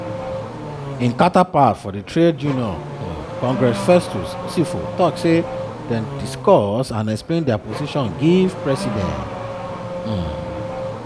im counterpart for di trade union um congress festus osifo tok say dem discuss and explain dia position give di president. um